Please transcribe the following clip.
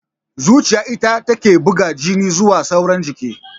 Zuciya ita take buga jini zuwa sauran jiki